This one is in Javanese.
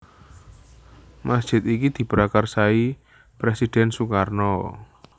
Masjid iki diprakarsai Presiden Sukarno